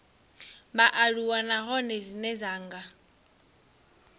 vhaaluwa nahone dzine dza nga